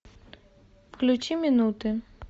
включи минуты